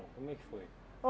Como é que foi?